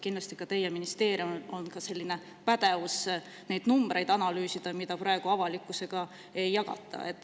Kindlasti ka teie ministeeriumil on pädevus neid numbreid analüüsida, mida praegu avalikkusega ei jagata.